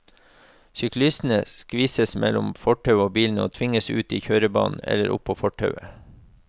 Syklistene skvises mellom fortauet og bilene og tvinges ut i kjørebanen eller opp på fortauet.